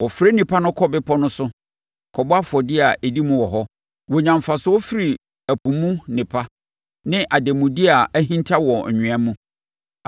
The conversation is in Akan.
Wɔfrɛ nnipa no kɔ bepɔ no so kɔbɔ afɔdeɛ a ɛdi mu wɔ hɔ. Wɔnya mfasoɔ firi ɛpo mu nnepa ne ademudeɛ a ahinta wɔ anwea mu.”